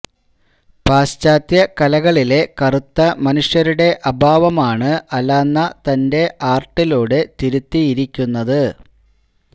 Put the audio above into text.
പാശ്ചാത്യ കലകളിലെ കറുത്ത മനുഷ്യരുടെ അഭാവമാണ് അലാന്ന തന്റെ ആര്ട്ടിലൂടെ തിരുത്തിയിരിക്കുന്നത്